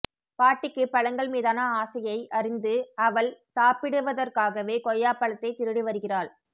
பாட்டிக்கு பழங்கள் மீதான ஆசையை அறிந்து அவள் சாப்பிடுவதற்காகவே கொய்யாபழத்தைத் திருடி வருகிறாள்